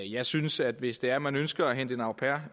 jeg synes at hvis det er man ønsker at hente en au pair